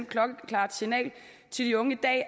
klokkeklart signal til de unge i dag